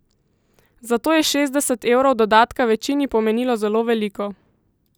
Zato je šestdeset evrov dodatka večini pomenilo zelo veliko.